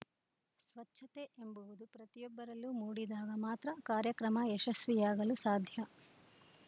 ಸ್ವಚ್ಛತೆ ಎಂಬುವುದು ಪ್ರತಿಯೊಬ್ಬರಲ್ಲೂ ಮೂಡಿದಾಗ ಮಾತ್ರ ಕಾರ್ಯಕ್ರಮ ಯಶಸ್ವಿಯಾಗಲು ಸಾಧ್ಯ